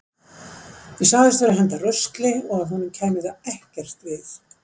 Ég sagðist vera að henda rusli og að honum kæmi það ekki við.